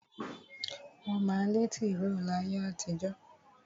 Wọ́n má ń lẹ́ tìró láyé àtijó.